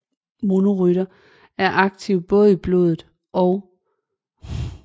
Monocytter er aktive både i blodet og i andre væv